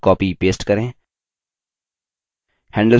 objects को cut copy paste करें